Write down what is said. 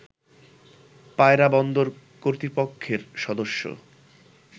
পায়রা বন্দর কর্তৃপক্ষের সদস্য